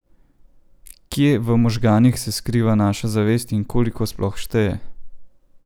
Kje v možganih se skriva naša zavest in koliko sploh šteje?